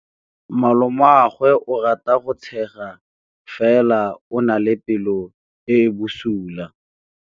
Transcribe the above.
Malomagwe o rata go tshega fela o na le pelo e e bosula.